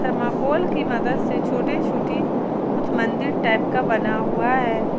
Thermocol की मदद से छोटे छोटी कुछ मंदिर टाइप का बना हुआ है।